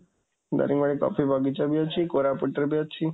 ଦାରିଙ୍ଗିବାଡ଼ିରେ coffee ବଗିଚା ବି ଅଛି, କୋରାପୁଟରେ ବି ଅଛି।